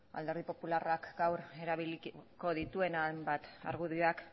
alderdi popularrak gaur erabiliko dituen hainbat argudioak